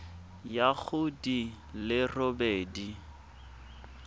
ya go di le robedi